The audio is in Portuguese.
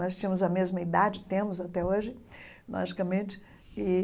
Nós tínhamos a mesma idade, temos até hoje, logicamente e.